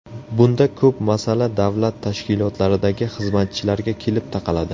Bunda ko‘p masala davlat tashkilotlaridagi xizmatchilarga kelib taqaladi.